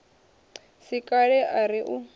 si kale a ri u